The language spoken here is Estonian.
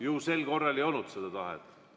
Ju sel korral ei olnud seda tahet.